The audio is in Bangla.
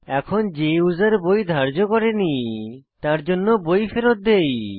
এখন যে ইউসার বই ধার্য করে নি তারজন্য বই ফেরৎ দেই